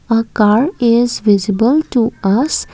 a car is visible to us.